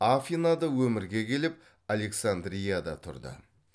афинада өмірге келіп александрияда тұрды